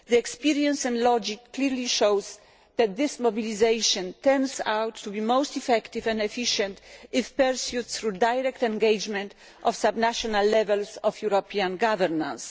Experience and logic clearly show that this mobilisation turns out to be most effective and efficient if pursued through the direct engagement of subnational levels of European governments.